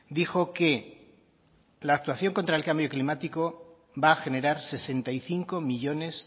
dijo que la actuación contra el cambio climático va a generar sesenta y cinco millónes